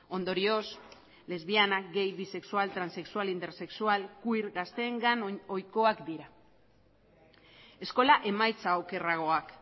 ondorioz lesbiana gay bisexual transexual intersexual queer gazteengan ohikoak dira eskola emaitza okerragoak